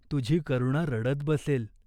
तुझी करुणा रडत बसेल.